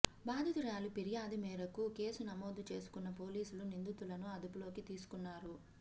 బాధితురాలి ఫిర్యాదు మేరకు కేసు నమోదు చేసుకున్న పోలీసులు నిందితులను అదుపులోకి తీసుకున్నారు